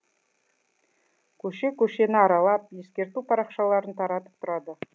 көше көшені аралап ескерту парақшаларын таратып тұрады